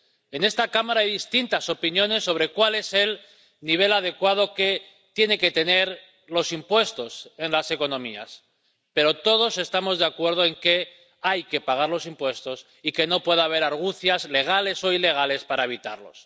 En esta Cámara hay distintas opiniones sobre cuál es el nivel adecuado que tienen que tener los impuestos en las economías, pero todos estamos de acuerdo en que hay que pagar los impuestos y que no puede haber argucias legales o ilegales para evitarlos.